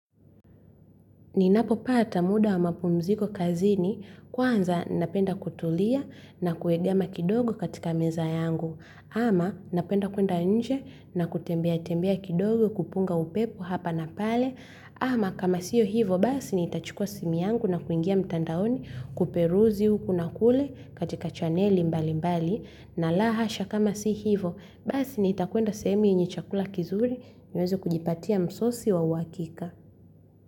Ninapopata muda wa mapumziko kazini, kwanza napenda kutulia na kuegama kidogo katika meza yangu. Ama napenda kwenda nje na kutembea tembea kidogo kupunga upepo hapa na pale. Ama kama siyo hivo basi nitachukua simu yangu na kuingia mtandaoni kuperuzi huku na kule katika chaneli mbali mbali. Na lahasha kama si hivo basi ni itakwenda sehemu yenye chakula kizuri niweze kujipatia msosi wa wakika.